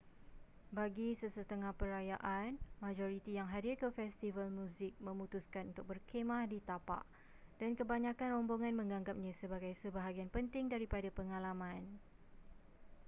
bagi sesetengah perayaan majoriti yang hadir ke festival muzik memutuskan untuk berkhemah di tapak dan kebanyakkan rombongan menganggapnya sebagai sebahagian penting daripada pengalaman